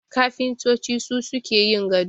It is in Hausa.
Kafintoci su suke yin gado